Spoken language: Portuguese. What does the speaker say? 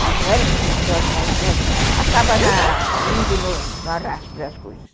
Nós não éramos religiosos, mas, enfim, a gente acaba indo no arrasto das coisas.